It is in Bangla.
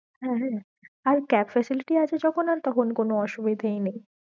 হ্যাঁ হ্যাঁ, আর cab facility আছে যখন আর তখন কোনো অসুবিধেয়ি নেই।